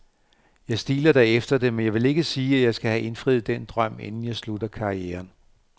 Jeg stiler da efter det, men jeg vil ikke sige, at jeg skal have indfriet den drøm, inden jeg slutter karrieren.